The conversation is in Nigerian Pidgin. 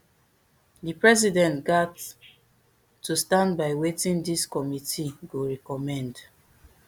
di president gat to stand by wetin dis committee go recommend